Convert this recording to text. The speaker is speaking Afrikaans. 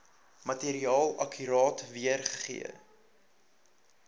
materiaal akkuraat weergee